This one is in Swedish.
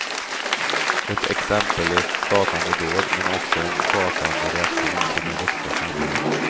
Ett exempellöst skakande dåd men också en skakande reaktion från det vuxna samhället.